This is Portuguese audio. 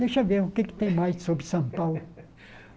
Deixa eu ver o que é que tem mais sobre São Paulo.